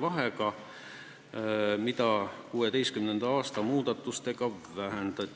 vahega, mida 2016. aasta muudatustega vähendati.